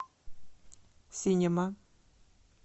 синема